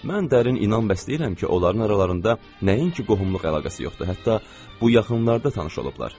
Mən dərin inan bəsləyirəm ki, onların aralarında nəinki qohumluq əlaqəsi yoxdur, hətta bu yaxınlarda tanış olublar.